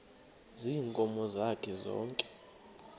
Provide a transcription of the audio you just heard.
ziinkomo zakhe zonke